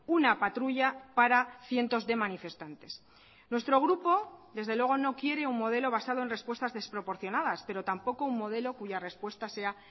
una patrulla para cientos de manifestantes nuestro grupo desde luego no quiere un modelo basado en respuestas desproporcionadas pero tampoco un modelo cuya respuesta sea